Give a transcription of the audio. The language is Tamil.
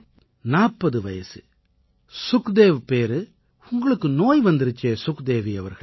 40 வயசு சுக்தேவ் பேரு உங்களுக்கு நோய் வந்திருச்சே சுக்தேவி அவர்களே